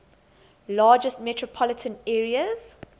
largest metropolitan areas